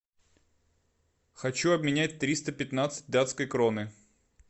хочу обменять триста пятнадцать датской кроны